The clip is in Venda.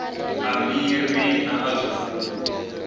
a miri na a zwifuwo